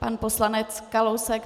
Pan poslanec Kalousek.